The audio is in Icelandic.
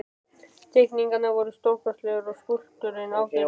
Teikningarnar voru stórkostlegar og skúlptúrinn ágætur.